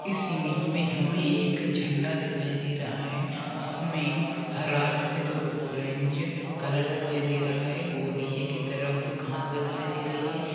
इस इमेज मे हमे एक झंडा दिखाई दे रहा है जिसमे हरा सफेद और ऑरेंज कलर दिखाई दे रहा है और नीचे की तरफ घाँस दिखाई दे रही है।